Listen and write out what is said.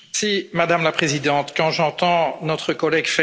Madame la Présidente, quand j'entends notre collègue M.